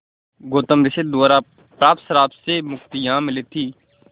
गौतम ऋषि द्वारा प्राप्त श्राप से मुक्ति यहाँ मिली थी